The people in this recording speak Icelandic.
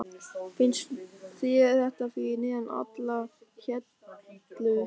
Finnst þér þetta fyrir neðan allar hellur?